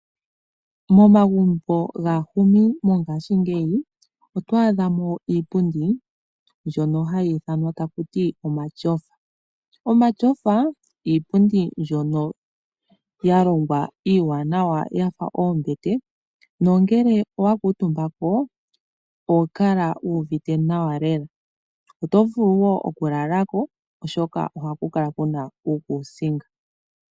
Momagumbo gaahumi mongaashingeyi oto adha mo iipundi mbyono hayi ithanwa taku ti omatyofa. Omatyofa, iipundi mbyono ya longwa iiwanawa yafa oombete nongele owa kuutumba ko oho kala wu uvite nawa lela. Oto vulu wo oku lala ko oshoka ohaku kala kuna uukuusinga.